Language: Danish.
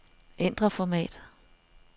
Ændr format.